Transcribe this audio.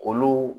Olu